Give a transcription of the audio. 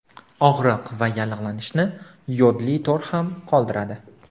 Og‘riq va yallig‘lanishni yodli to‘r ham qoldiradi.